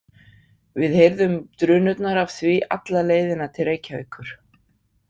Við heyrðum drunurnar af því alla leiðina til Reykjavíkur.